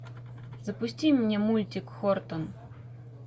запусти мне мультик хортон